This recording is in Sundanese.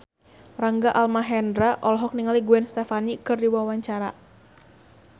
Rangga Almahendra olohok ningali Gwen Stefani keur diwawancara